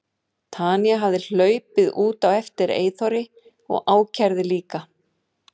Tanya hefði hlaupið út á eftir Eyþóri og ákærði líka.